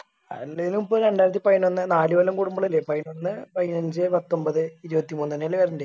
അല്ലയ്ലിപ്പോ രണ്ടായിരത്തി പയിനൊന്ന് നാല് കൊല്ലം കൂടുമ്പളല്ലേ പയിനൊന്ന് പയിനഞ്ച് പത്തൊമ്പത് ഇരുപത്തിമൂന്നന്നെയല്ലേ വരണ്ടെ